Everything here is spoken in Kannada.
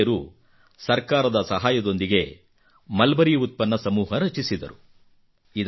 ಈ ಮಹಿಳೆಯರು ಸರ್ಕಾರದ ಸಹಾಯದೊಂದಿಗೆ ಮಲ್ಬರಿಉತ್ಪನ್ನ ಸಮೂಹ ರಚಿಸಿದರು